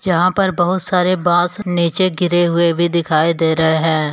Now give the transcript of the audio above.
जहां पर बहोत सारे बांस नीचे गिरे हुए भी दिखाई दे रहे हैं।